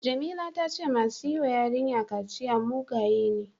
Jamila ta ce masu yi wa yarinya kaciya mugaye ne.